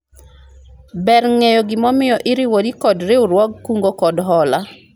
ber ng'eyo gima omiyo iriwori kod riwruog kungo kod hola